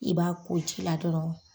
I b'a ko ji la dɔrɔn